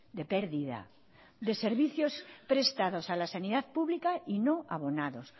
de pérdida de servicios prestados a la sanidad pública y no abonados